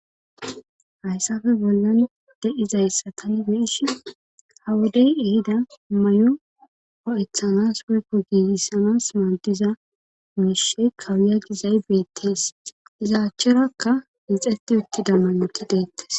hayssafe bollan de7izayssa tani beish hawodey ehida may7o o7ethanas woykko giigissanas maadiza mishshe kawuya gizay beettees izaachcherakka mixeti utti dammanoti deettes.